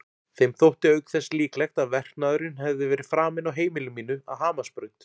Þeim þótti auk þess líklegt að verknaðurinn hefði verið framinn á heimili mínu að Hamarsbraut.